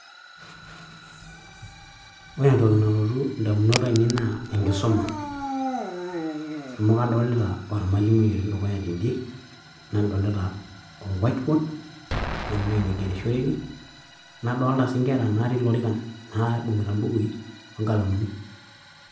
ore entoki nalotu indamunot ainei naa enkisuma amu adolita ormwalimui otii dukuya tend`e nadolita or white board ashu ewuei nigerishoreki nadolita sii nkera natii lorikan naibungita mbukui onkalamuni .